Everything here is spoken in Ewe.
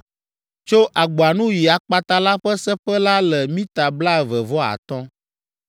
Tso agboa nu yi akpata la ƒe seƒe la le mita blaeve vɔ atɔ̃.